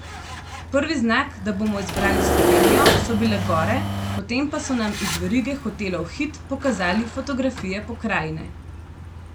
Prvi znak, da bomo izbrali Slovenijo, so bile gore, potem pa so nam iz verige hotelov Hit pokazali fotografije pokrajine.